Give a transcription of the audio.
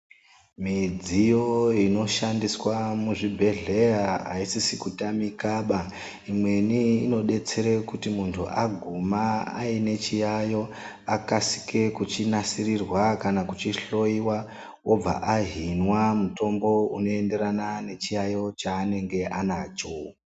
Midziyo inoshandiswa muzvibhedhleya aisisi kutamika baa, imweni inodetsera kuti muntu aguma ainechiyayo akasike kuchinasirirwa kana kuchihloyiwa obva ahinwa mutombo unoenderana nechiyayo chaanenge anacho.